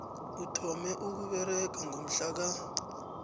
uthome ukusebenza ngomhlaka